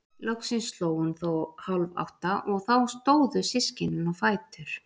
Loksins sló hún þó hálf átta og þá stóðu systkinin á fætur.